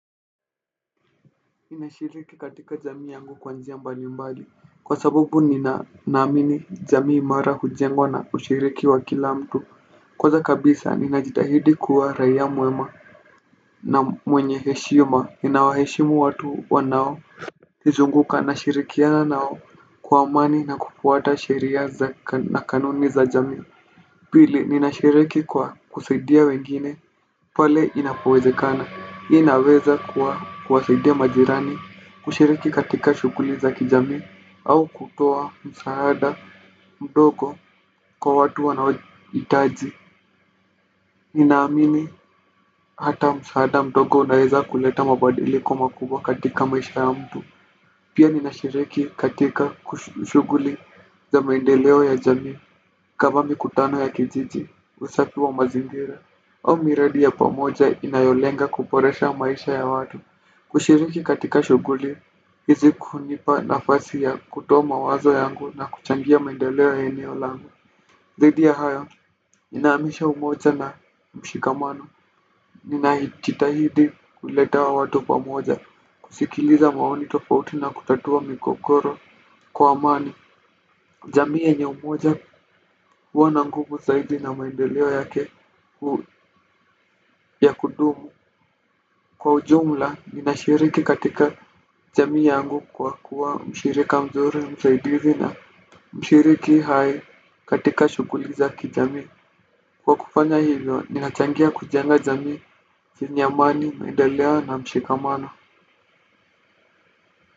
Nimeshiriki katika jamii yangu kwa njia mbali mbali. Kwa sababu ninaamini jamii mara hujengwa na ushiriki wa kila mtu. Kwanza kabisa ninajitahidi kuwa raia mwema. Na mwenye heshima ninawaheshimu watu wa nao. Nizunguka nashirikiana nao kwa amani na kufuata sheria na kanuni za jamii. Pili ninashiriki kwa kusaidia wengine pale inapowezekana, hii inaweza kuwasaidia majirani kushiriki katika shuguli za kijami au kutoa msaada mdogo kwa watu wanohitaji. Ninaamini hata msaada mdogo unaweza kuleta mabadiliko makubwa katika maisha ya mtu pia ninashiriki katika kushuguli za maendeleo ya jami kama mikutano ya kijiji, usafi wa mazingira au miradi ya pamoja inayolenga kuboresha maisha ya watu. Kushiriki katika shuguli hizi hunipa nafasi ya kutoa mawazo yangu na kuchangia maendeleo ya eneo langu. Zaidi ya hayo, ninaamisha umoja na mshikamano. Ninajitahidi kuleta watu pamoja. Kusikiliza maoni tofauti na kutatua migogoro kwa amani jamii yenye umoja huwa na nguvu zaidi na maendeleo yake. Kwa ujumla, ninashiriki katika jamii yangu kwa kuwa mshirika mzuri msaidizi na mshiriki hai katika shuguli za kijami. Kwa kufanya hivyo, ninachangia kujenga jamii yenye amani, maendeleo na mshikamano.